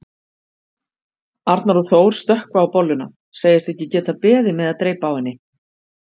Arnar og Þór stökkva á bolluna, segjast ekki geta beðið með að dreypa á henni.